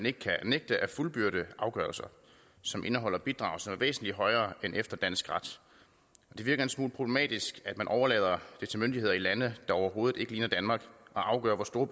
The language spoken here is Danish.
ikke kan nægtes at fuldbyrde afgørelser som indeholder bidrag som er væsentlig højere end efter dansk ret det virker en smule problematisk at man overlader det til myndigheder i lande der overhovedet ikke ligner danmark at afgøre hvor store